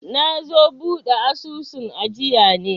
nazo buɗe asusun ajiya ne